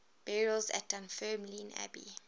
burials at dunfermline abbey